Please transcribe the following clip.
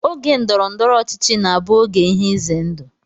Oge ndọrọndọrọ ọchịchị na-abụ oge ihe ize ndụ